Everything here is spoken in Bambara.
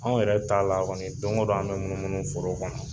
Anw yɛrɛ ta la kɔni, don o don an b munumunu foro kɔnɔ.